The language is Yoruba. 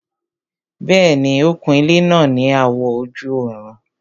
Bẹ́ẹ̀ni, ó kun ilẹ́ náà ní àwọ̀ ojú-ọ̀run